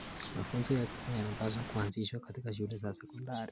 Mafunzo ya kilimo yanapaswa kuanzishwa katika shule za sekondari.